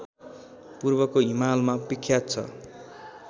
पूर्वको हिमालमा विख्यात छ